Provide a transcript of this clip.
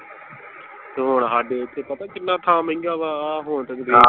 ਤੇ ਹੁਣ ਹਾਡੇ ਓਥੇ ਪਤਾ ਕਿੰਨਾ ਥਾਂ ਮਹਿੰਗਾ ਵਾ ਆਹ .